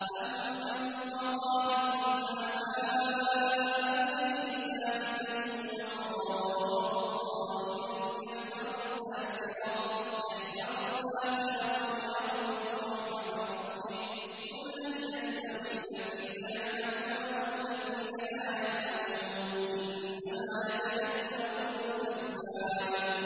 أَمَّنْ هُوَ قَانِتٌ آنَاءَ اللَّيْلِ سَاجِدًا وَقَائِمًا يَحْذَرُ الْآخِرَةَ وَيَرْجُو رَحْمَةَ رَبِّهِ ۗ قُلْ هَلْ يَسْتَوِي الَّذِينَ يَعْلَمُونَ وَالَّذِينَ لَا يَعْلَمُونَ ۗ إِنَّمَا يَتَذَكَّرُ أُولُو الْأَلْبَابِ